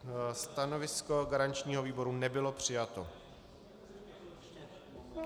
Stanovisko garančního výboru nebylo přijato.